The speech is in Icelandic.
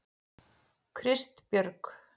Kristbjörg